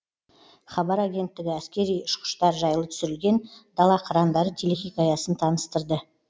хабар агенттігі әскери ұшқыштар жайлы түсірілген дала қырандары телехикаясын таныстырды